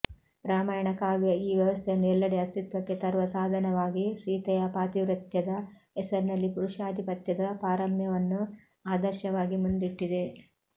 ರಾಮಾಯಣ ಕಾವ್ಯ ಈ ವ್ಯವಸ್ಥೆಯನ್ನು ಎಲ್ಲೆಡೆ ಅಸ್ತಿತ್ವಕ್ಕೆ ತರುವ ಸಾಧನವಾಗಿ ಸೀತೆಯ ಪಾತಿವ್ರತ್ಯದ ಹೆಸರಿನಲ್ಲಿ ಪುರುಷಾಧಿಪತ್ಯದ ಪಾರಮ್ಯವನ್ನು ಆದರ್ಶವಾಗಿ ಮುಂದಿಟ್ಟಿದೆ